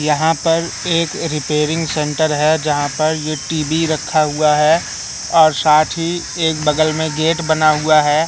यहां पर एक रिपेयरिंग सेंटर है यहां पर ये टी_वी रखा हुआ है और साथ ही एक बगल में गेट बना हुआ है।